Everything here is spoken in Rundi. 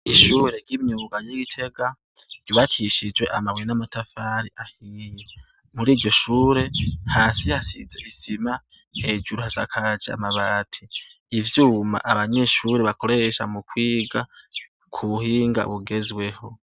Ishuri ry'imyuga ry'i Gitega ryubakishijwe amabuye n'amatafari ahiye, muriryo shure , hasi hasize isima ,hejuru hasakaje amabati ,ivyuma abanyeshuri bakoresha mu kwiga ku buhinga bugezweho.